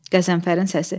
Qəzənfərin səsi.